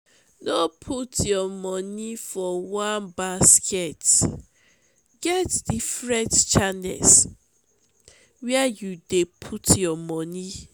no put your monie for one basket get different channels where you dey put your monie.